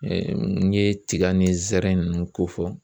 n ɲe tiga ni zɛrɛn ninnu ko fɔ